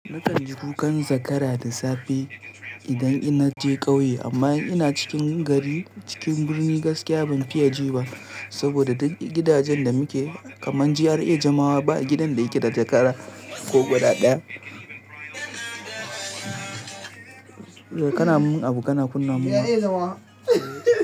Na kan ji kukan zakara da safe idan ina je ƙauye amma in ina cikin gari cikin birni gaskiya ban fiya ji ba saboda gidajen da muke kaman GRA Jamawa ba gidan da yake da zakara ko guda daya. Kana mun abu kana kunna mun wa.